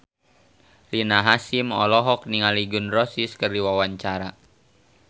Rina Hasyim olohok ningali Gun N Roses keur diwawancara